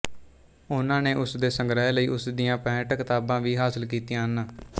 ਉਨ੍ਹਾਂ ਨੇ ਉਸ ਦੇ ਸੰਗ੍ਰਹਿ ਲਈ ਉਸ ਦੀਆਂ ਪੈਂਹਠ ਕਿਤਾਬਾਂ ਵੀ ਹਾਸਲ ਕੀਤੀਆਂ ਹਨ